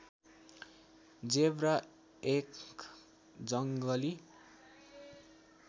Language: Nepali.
जेब्रा एक जङ्गली